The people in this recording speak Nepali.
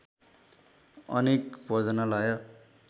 अनेक भोजनालय